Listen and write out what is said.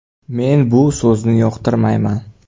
Men bu so‘zni yoqtirmayman.